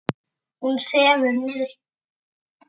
Hún sefur niðri.